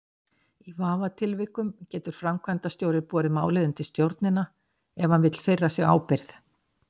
Í vafatilvikum getur framkvæmdastjóri borið málið undir stjórnina ef hann vill firra sig ábyrgð.